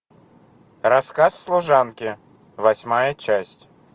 рассказ служанки восьмая часть